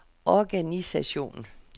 organisation